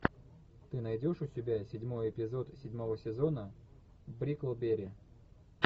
ты найдешь у себя седьмой эпизод седьмого сезона бриклберри